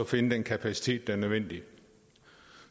finde den kapacitet der er nødvendig